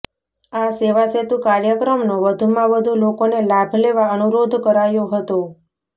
આ સેવાસેતુ કાર્યક્રમનો વધુમાં વધુ લોકોને લાભ લેવા અનુરોધ કરાયો હતો